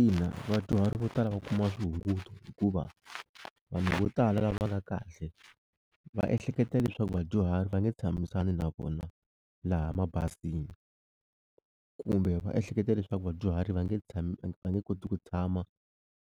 Ina vadyuhari vo tala va kuma swihunguto hikuva vanhu vo tala lava nga kahle va ehleketa leswaku vadyuhari va nge tshamisani na vona laha mabazini kumbe va ehleketa leswaku vadyuhari va nge tshami va nge koti ku tshama